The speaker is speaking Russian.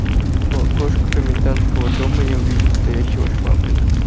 у окошка комендантского дома я увидел стоящего швабрина